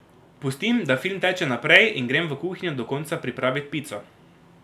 Pustim, da film teče naprej, in grem v kuhinjo do konca pripravit pico.